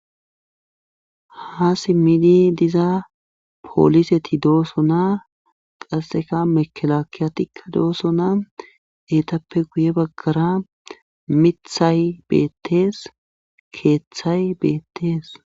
Ha simmidi diza pooliseti dooso naa qasseka mekelakiyatikka dooso naa eetappe guye baggara mithay beettees keeththay beettees.